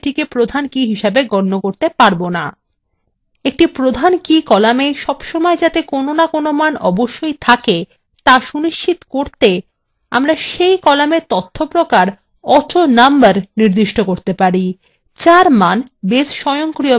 একটি প্রধান key columna সবসময় কোনো না কোনো মান অবশ্যই থাকা সুনিশ্চিত করতে আমরা key column এর তথ্য প্রকার autonumber নির্দিষ্ট করতে পারি যার মান base স্বয়ংক্রিয়ভাবে উৎপন্ন করে